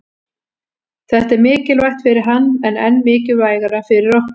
Þetta er mikilvægt fyrir hann en enn mikilvægara fyrir okkur